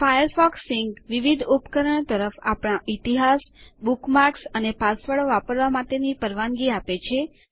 Firefox Sync વિવિધ ઉપકરણો તરફ આપણા ઇતિહાસ બુકમાર્ક્સ અને પાસવર્ડો વાપરવા માટેની પરવાનગી આપે છે